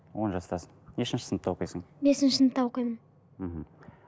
он жастасың нешінші сыныпта оқисың бесінші сыныпта оқимын мхм